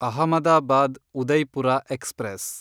Ahmedabad Udaipur express